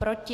Proti?